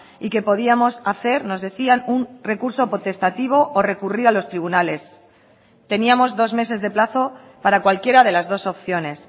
y que podíamos hacer nos decían un recurso potestativo o recurrir a los tribunales teníamos dos meses de plazo para cualquiera de las dos opciones